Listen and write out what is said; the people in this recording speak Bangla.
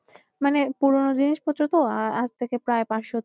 মানে পুরনো জিনিসপত্র তো আজ থেকে প্রায় পাঁচশ।